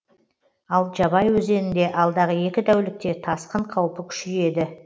ал жабай өзенінде алдағы екі тәулікте тасқын қаупі күшейеді